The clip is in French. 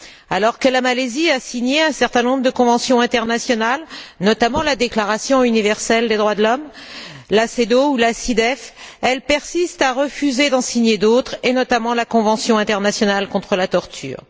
Alors que la Malaisie a signé un certain nombre de conventions internationales, notamment la Déclaration universelle des droits de l'homme, l'ACEDAW ou la CIDE, elle persiste à refuser d'en signer d'autres et notamment la Convention internationale contre la torture.